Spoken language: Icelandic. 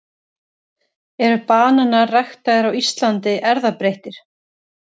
eru bananar ræktaðir á íslandi erfðabreyttir